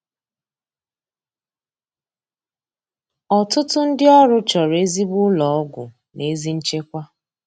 Ọtụtụ ndị ọrụ chọrọ ezigbo ụlọ ọgwụ na ezi nchekwa